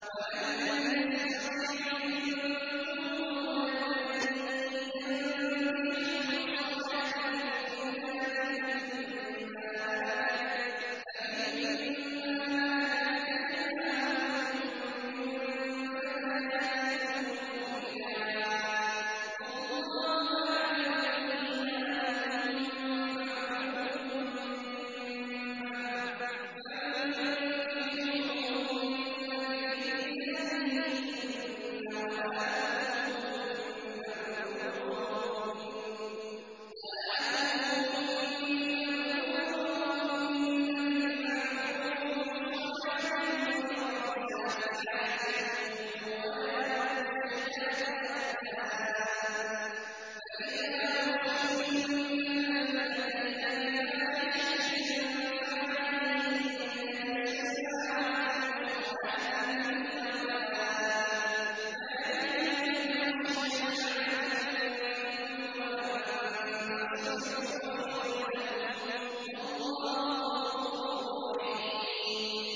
وَمَن لَّمْ يَسْتَطِعْ مِنكُمْ طَوْلًا أَن يَنكِحَ الْمُحْصَنَاتِ الْمُؤْمِنَاتِ فَمِن مَّا مَلَكَتْ أَيْمَانُكُم مِّن فَتَيَاتِكُمُ الْمُؤْمِنَاتِ ۚ وَاللَّهُ أَعْلَمُ بِإِيمَانِكُم ۚ بَعْضُكُم مِّن بَعْضٍ ۚ فَانكِحُوهُنَّ بِإِذْنِ أَهْلِهِنَّ وَآتُوهُنَّ أُجُورَهُنَّ بِالْمَعْرُوفِ مُحْصَنَاتٍ غَيْرَ مُسَافِحَاتٍ وَلَا مُتَّخِذَاتِ أَخْدَانٍ ۚ فَإِذَا أُحْصِنَّ فَإِنْ أَتَيْنَ بِفَاحِشَةٍ فَعَلَيْهِنَّ نِصْفُ مَا عَلَى الْمُحْصَنَاتِ مِنَ الْعَذَابِ ۚ ذَٰلِكَ لِمَنْ خَشِيَ الْعَنَتَ مِنكُمْ ۚ وَأَن تَصْبِرُوا خَيْرٌ لَّكُمْ ۗ وَاللَّهُ غَفُورٌ رَّحِيمٌ